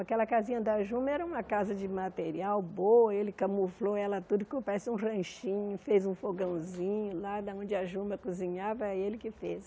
Aquela casinha da Juma era uma casa de material boa, ele camuflou ela tudo, que parece um ranchinho, fez um fogãozinho lá, de onde a Juma cozinhava, ele que fez.